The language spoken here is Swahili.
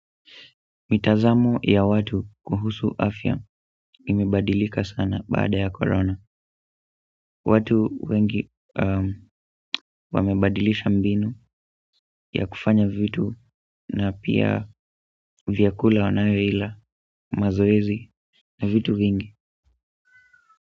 Mitazamo ya watu kuhusu afya imebadilika sana baada ya korona watu wengi wamebadilisha mbinu ya kufanya vitu na pia vyakula wanayoila mazoezi na vitu vingi.